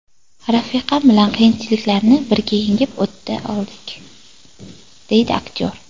Rafiqam bilan qiyinchiliklarni birga yengib o‘ta oldik”, deydi aktyor.